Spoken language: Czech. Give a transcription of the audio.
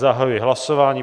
Zahajuji hlasování.